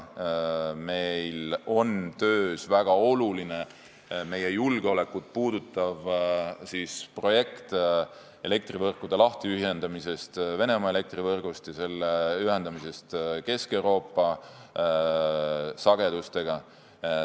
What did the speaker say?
Meil on töös väga oluline meie julgeolekut puudutav projekt elektrivõrkude lahtiühendamiseks Venemaa elektrivõrgust ja ühendamiseks Kesk-Euroopa sagedustega.